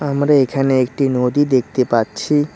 আমরা এখানে একটি নদী দেখতে পাচ্ছি।